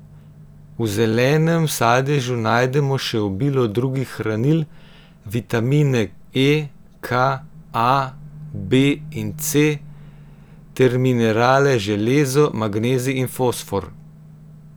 V zelenem sadežu najdemo še obilo drugih hranil, vitamine E, K, A, B in C ter minerale železo, magnezij in fosfor.